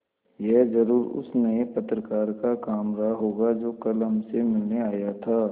यह ज़रूर उस नये पत्रकार का काम रहा होगा जो कल हमसे मिलने आया था